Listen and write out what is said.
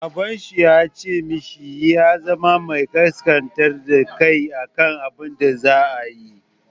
Baban shi ya ce mishi ya zama mai ƙasƙantar da kai a kan abun da zai yi.